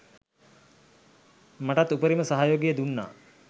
මටත් උපරිම සහයෝගය දුන්නා